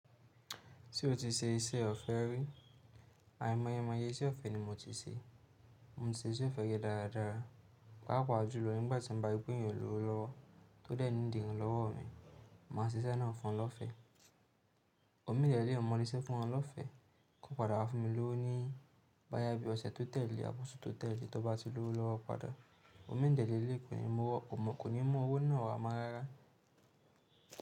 Ti o ti ṣe iṣẹ́ ọ̀fẹ́ rí? Àìmọye àìmọye iṣẹ́ ọ̀fẹ́ ni mo ti ṣe. Mo ti ṣe iṣẹ́ ọ̀fẹ́ rí dáradára, pàápàá jùlọ nígbà tí mo bá rí pé èèyàn ò lówó lọwọ́ tó dẹ́ẹ̀ niidì iránlọ́wọ́ mi. Máa ṣe iṣẹ́ náà fún lọ́fẹ́. Òmí dẹ́ẹ̀ léléyi mo Le ṣẹ́ fún wọn lọ́fẹ́, kó padà wá fún mi lówó ní báyá bí ọ̀sẹ̀ tó tẹ́lẹ̀, àbọ̀sú tó tẹ́lẹ̀ tó bá ti lówó lọ́wọ́ padà. Omii dẹ̀ lèléyi kò ní mú owó náà wá mọ́ rárá.